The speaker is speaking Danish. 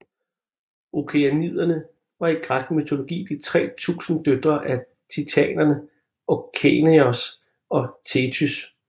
Okeaniderne var i græsk mytologi de 3000 døtre af titanerne Okeanos og Thetys